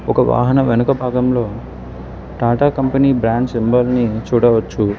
ఒక వాహన వెనుక భాగంలో టాటా కంపెనీ బ్రాండ్స్ మెంబర్ ని చూడవచ్చు.